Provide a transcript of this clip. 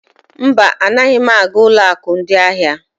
Mba, anaghị aga ụlọ akụ ndị ahịa.